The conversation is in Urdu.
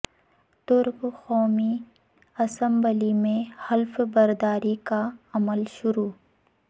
ترک قومی اسمبلی میں حلف برداری کا عمل شروع